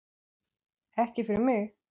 Ekki fyrir mig!